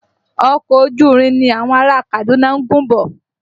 Ọkọ̀ ojú irin ni àwọn ará a Kaduna ń gùn bọ̀